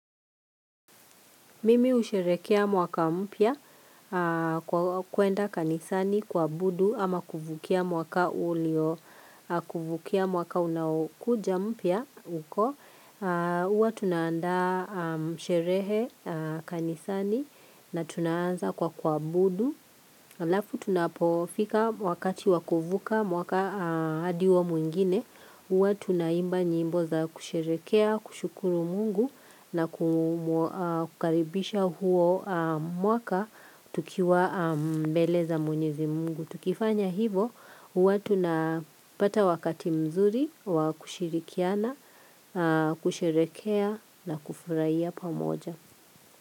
Mimi husherekea mwaka mpya kwa kuenda kanisani kuabudu ama kuvukia mwaka ulio, kuvukia mwaka unaokuja mpya uko. Huwa tunaanda sherehe kanisani na tunaanza kwa kuabudu. Alafu tunapofika wakati wa kuvuka mwaka hadi huo mwingine huwa tunaimba nyimbo za kusherekea, kushukuru mungu na kukaribisha huo mwaka tukiwa mbeleza mwenyezi mungu tukifanya hivo, huwa tuna pata wakati mzuri, wa kushirikiana, kusherekea na kufurahia pamoja.